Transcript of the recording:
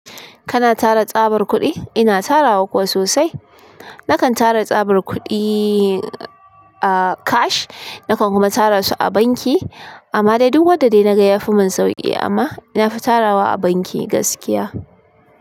Kana tara tsabar kuɗi? Ina tara kuwa sosai. Nakan tara tsabar kuɗi, ah cash, nakan kuma tara su a banki amma dai duk wadda dai naga yafi mun sauƙi amma nafita rawa a banki gaskiya.